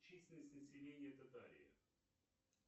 численность населения татарии